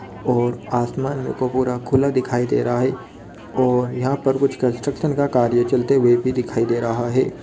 और आसमान मेरे को पूरा खुला दिखाई दे रहा है और यहाँ पर कुछ कन्स्ट्रक्शन का कार्य चलते हुए भी दिखाई दे रहा है।